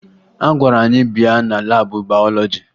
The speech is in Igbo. A gwara anyị bịa na laabụ bayọlọji